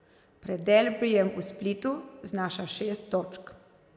Pred derbijem v Splitu znaša šest točk.